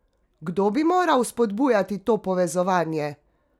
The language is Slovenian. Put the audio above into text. Kdo bi moral vzpodbujati to povezovanje?